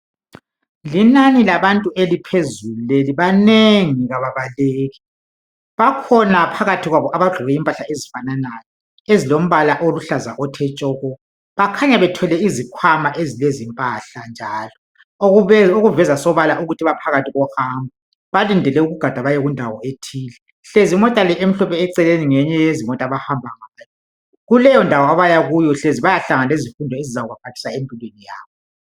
Linani labantu eliphezulu leli. Banengi kababaleki. Bakhona phakathi kwabo abagqoke impahla ezifananayo ezilombala oluhlaza othe tshoko. Bakhanya bethwele izikhwama ezilempahla njalo okuveza sobala ukuthi baphakathi kohambo balindele ukugada bayekundawo ethile. Hlezi imota le emhlophe eceleni ngeyinye yezimota abahamba ngayo. Kuleyondawo abayakuyo hlezi bayahlangana lezifundo ezizabaphathisa empilweni yabo.